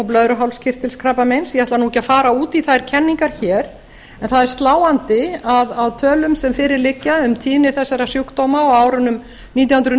blöðruhálskirtilskrabbameins ég ætla ekki að fara út í þær kenningar hér en það er sláandi að á tölum sem fyrir liggja um tíðni þessara sjúkdóma á árunum nítján hundruð